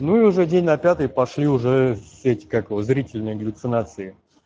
ну уже день на пятый пошли уже эти как его зрительные галлюцинации